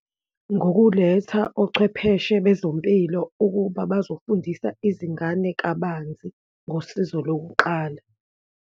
Ngokuletha ochwepheshe bezempilo ukuba bazofundisa izingane kabanzi ngosizo lokuqala.